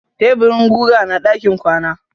Taburin guga na ɗakin kwana.